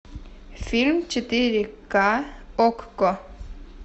фильм четыре ка окко